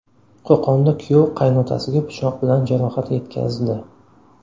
Qo‘qonda kuyov qaynotasiga pichoq bilan jarohat yetkazdi.